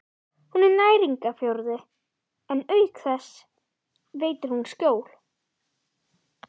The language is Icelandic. Hún er næringarforði og auk þess veitir hún skjól.